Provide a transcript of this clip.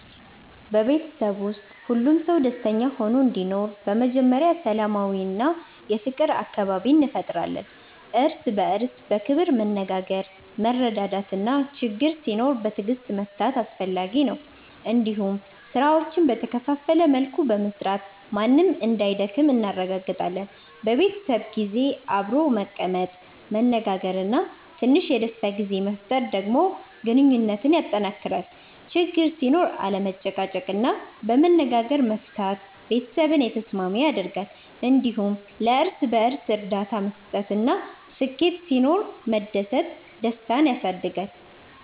በቤተሰብ ውስጥ ሁሉም ሰው ደስተኛ ሆኖ እንዲኖር በመጀመሪያ ሰላማዊ እና የፍቅር አካባቢ እንፈጥራለን። እርስ በእርስ በክብር መነጋገር፣ መረዳዳት እና ችግኝ ሲኖር በትዕግስት መፍታት አስፈላጊ ነው። እንዲሁም ስራዎችን በተከፋፈለ መልኩ በመስራት ማንም እንዳይደክም እናረጋግጣለን። በቤተሰብ ጊዜ አብሮ መቀመጥ፣ መነጋገር እና ትንሽ የደስታ ጊዜ መፍጠር ደግሞ ግንኙነትን ያጠናክራል። ችግኝ ሲኖር አለመጨቃጨቅ እና በመነጋገር መፍታት ቤተሰብን የተስማሚ ያደርጋል። እንዲሁም ለእርስ በእርስ እርዳታ መስጠት እና ስኬት ሲኖር መደሰት ደስታን ያሳድጋል።